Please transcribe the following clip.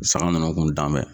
San ninnu kun dan bɛ.